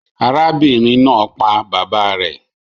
Arábìnrin naa pa bàbá rè